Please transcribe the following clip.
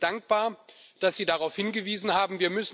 Ich bin Ihnen dankbar, dass Sie darauf hingewiesen haben.